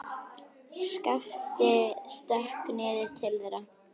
Skapti stökk niður til þeirra.